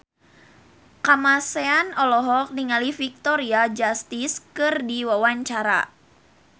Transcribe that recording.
Kamasean olohok ningali Victoria Justice keur diwawancara